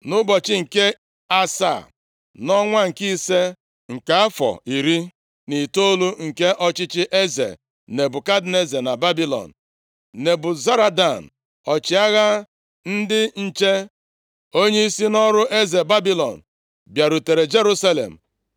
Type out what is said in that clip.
Nʼụbọchị nke asaa, nʼọnwa nke ise nke afọ iri na itoolu nke ọchịchị eze Nebukadneza na Babilọn, Nebuzaradan, ọchịagha ndị nche, onyeisi nʼọrụ eze Babilọn, bịarutere Jerusalem.